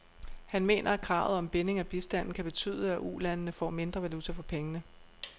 Han mener, at kravet om binding af bistanden kan betyde, at ulandene får mindre valuta for pengene.